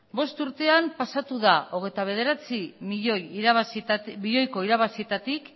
bost urtetan pasatu da hogeita bederatzi milioiko irabazietatik